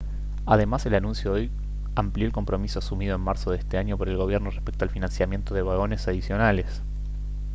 además el anuncio de hoy amplió el compromiso asumido en marzo de este año por el gobierno respecto al financiamiento de vagones adicionales